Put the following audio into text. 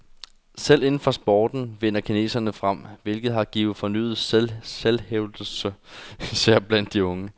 Selv inden for sporten vinder kineserne frem, hvilket har givet fornyet selvhævdelse især blandt de unge.